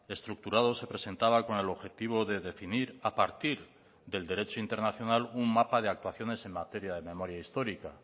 estructurado se presentaba con el objetivo de definir a partir del derecho internacional un mapa de actuaciones en materia de memoria histórica